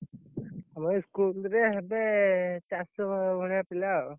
ଏଇ, school ରେ ହେବେ, ଚାରି, ସହ ଭଳିଆ, ପିଲା ଆଉ।